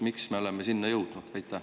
Miks me oleme sinna jõudnud?